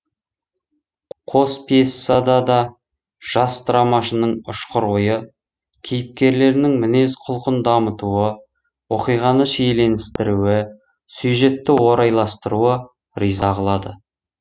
қос пьесада да жас драмашының ұшқыр ойы кейіпкерлерінің мінез құлқын дамытуы оқиғаны шиеленістіруі сюжетті орайластыруы риза қылады